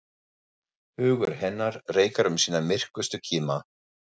Hugur hennar reikar um sína myrkustu kima.